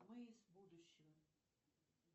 мы из будущего